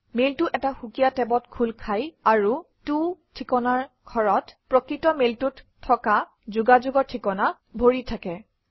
মেইলটো এটা সুকীয়া টেবত খোল খায় আৰু ত ঠিকনাৰ ঘৰত প্ৰকৃত মেইলটোত থকা যোগাযোগৰ ঠিকনা ভৰ্তি হৈ থাকে